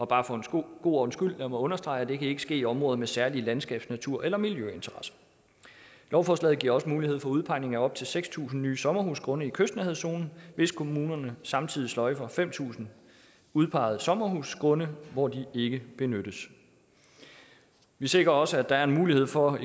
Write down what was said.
bare for en god ordens skyld understrege at det ikke kan ske i områder med særlige landskabs natur eller miljøinteresser lovforslaget giver også mulighed for udpegning af op til seks tusind nye sommerhusgrunde i kystnærhedszonen hvis kommunerne samtidig sløjfer fem tusind udpegede sommerhusgrunde hvor de ikke benyttes vi sikrer også at der er en mulighed for